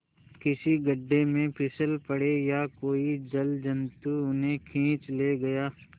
किसी गढ़े में फिसल पड़े या कोई जलजंतु उन्हें खींच ले गया